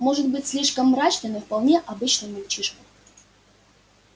может быть слишком мрачный но вполне обычный мальчишка